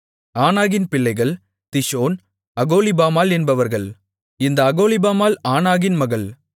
ஆனாகின் பிள்ளைகள் திஷோன் அகோலிபாமாள் என்பவர்கள் இந்த அகோலிபாமாள் ஆனாகின் மகள்